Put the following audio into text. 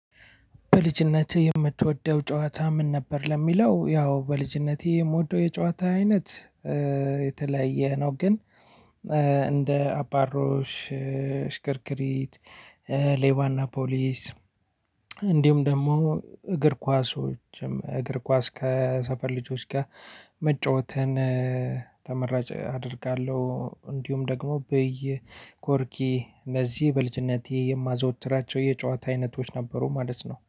በልጅነት የምትወደው ጨዋታ ምን ነበር? ለሚለው ያው በልጅነቴ የምወደው የጨዋታ አይነት የተለያየ ነው። ግን እንደ አባሮሽ ሽክርክሪት ሌባ እና ፖሊስ እንዲሁም ደግሞ እግር ኳሶዎችም እግር ኳስ ከሰፈር ልጆች ጋር መጫወትን ተመራጭ አደርጋለሁ። እንዲሁም ደግሞ ብይ፣ ቆርኪ እነዚህ በልጅነቴ የማዝወትራቸው የጨዋታ አይነቶች ነበሩ ማለት ነው።